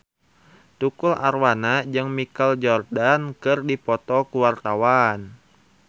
Tukul Arwana jeung Michael Jordan keur dipoto ku wartawan